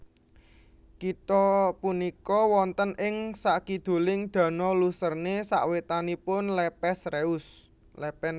Kitha punika wonten ing sakiduling Danau Lucerne sawetanipun Lepen Reuss